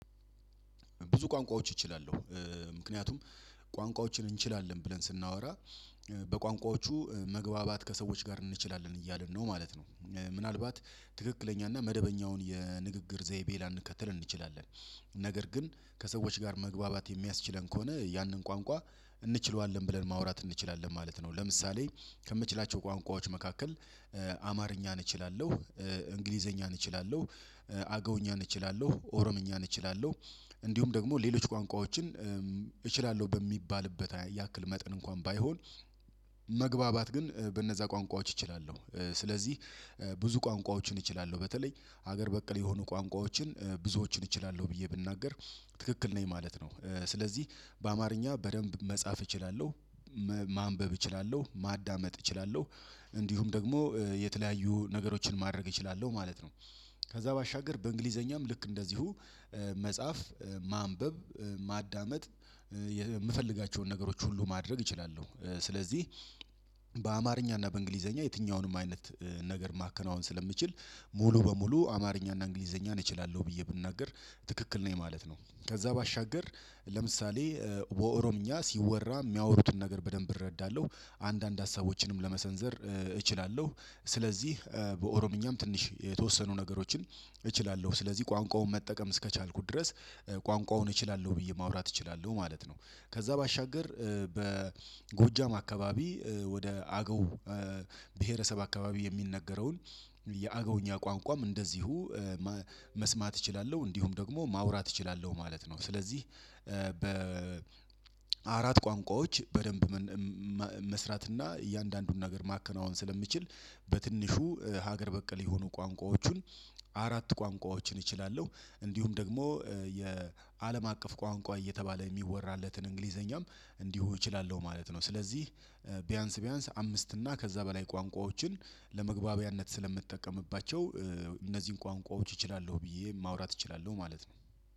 ብዙ ቋንቋዎች እችላለሁ ምክንያቱም ቋንቋዎችን እንችላለን ብለን ስናወራ በቋንቋዎቹ መግባባት ከሰዎች ጋር እንችላለን እያልን ነው ማለት ነው። ምናልባት ትክክለኛ እና መደበኛውን የንግግር ዘይቤ ላንከተል እንችላለን ነገር ግን ከሰዎች ጋር መግባባት የሚያስችለን ከሆነ ያንን ቋንቋ እንችለዋለን ብለን ማውራት እንችላለን ማለት ነው። ለምሳሌ ከምችላቸው ቋንቋዎች መካከል አማርኛን እችላለሁ እንግሊዘኛን እችላለሁ አገውኛን እችላለሁ ኦሮምኛ እችላለሁ እንዲሁም ደግሞ ሌሎች ቋንቋዎችን እችላለሁ በሚባልበት ያክል መጠን እንኳን ባይሆን። መግባባት ግን በእነዛ ቋንቋዎች እችላለሁ ስለዚህ ብዙ ቋንቋዎችን እችላለሁ በተለይ ሀገር በቀል የሆኑ ቋንቋዎችን ብዙዎችን እችላለሁ ብዬ ብናገር ትክክል ነኝ ማለት ነው። ስለዚህ በአማርኛ በደንብ መጻፍ እችላለሁ ማንበብ እችላለሁ ማዳመጥ እችላለሁ እንዲሁም ደግሞ የተለያዩ ነገሮችን ማድረግ እችላለሁ ማለት ነው። ከዛ ባሻገር በእንግሊዘኛም ልክ እንደዚሁ መጽሐፍ ማንበብ ማዳመጥ የምፈልጋቸውን ነገሮች ሁሉ ማድረግ እችላለሁ ስለዚህ። እና በእንግሊዘኛ የትኛውንም አይነት ነገር ማከናወን ስለምችል ሙሉ በሙሉ አማርኛ እና እንግሊዘኛን እችላለሁ ብዬ ብናገር ትክክል ነኝ ማለት ነው። ከዛ ባሻገር ለምሳሌ በኦሮምኛ ሲወራ የሚያወሩትን ነገር በደንብ እረዳለሁ አንዳንድ ሀሳቦችንም ለመሰንዘር እችላለሁ ስለዚህ በኦሮምኛም ትንሽ የተወሰኑ ነገሮችን እችላለሁ ስለዚህ ቋንቋውን መጠቀም እስከቻልኩ ድረስ ቋንቋውን እችላለሁ ብዬ ማውራት እችላለሁ ማለት ነው። ከዛ ባሻገር በጎጃም አካባቢ ወደ አገው ብሄረሰብ አክባቢ የሚነገረውን የአገውኛ ቋንቋም እንደዚሁ መስማት እችላለሁ እንዲሁም ደግሞ ማውራት እችላለሁ ማለት ነው። ስለዚህ በ አራት ቋንቋዎች በደንብ መስራትና እያንዳንዱን ነገር ማከናወን ስለምችል በትንሹ ሀገር በቀል የሆኑ ቋንቋዎችን አራት ቋንቋዎችን እችላለሁ እንዲሁም ደግሞ የአለም አቀፍ ቋንቋ እየተባለ የሚወራለትን እንግሊዘኛም እንዲሁ እችላለሁ ማለት ነው። ስለዚህ ቢያንስ ቢያንስ አምስት እና ከዛ በላይ ቋንቋዎችን ለመግባቢያነት ስለምጠቀምባቸው እነዚህን ቋንቋዎች እችላለሁ ብዬ ማውራት እችላለሁ ማለት ነው።